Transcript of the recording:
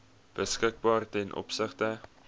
beskikbaar ten opsigte